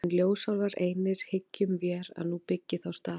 En ljósálfar einir hyggjum vér að nú byggi þá staði.